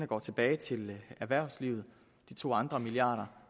går tilbage til erhvervslivet de to andre milliarder